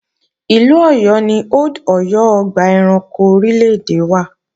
Ìlú Ọ̀yọ́ ni Old Ọ̀yọ́ ọgbà ẹranko orílè-èdè wà